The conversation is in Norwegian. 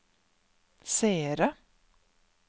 seere